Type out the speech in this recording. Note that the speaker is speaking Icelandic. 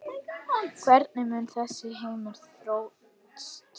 Hvernig mun þessi heimur þróast?